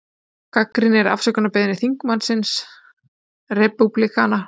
Gagnrýnir afsökunarbeiðni þingmanns repúblikana